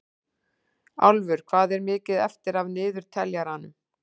Álfur, hvað er mikið eftir af niðurteljaranum?